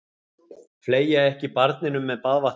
Fleygja ekki barninu með baðvatninu.